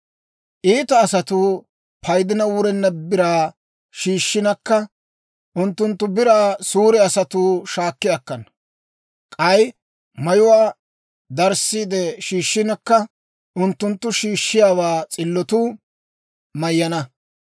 «Iita asatuu, paydina wurenna biraa shiishshinakka, unttunttu biraa suure asatuu shaakki akkana; k'ay mayuwaa darissiide shiishshinakka, unttunttu shiishshiyaawaa s'illotuu mayyana.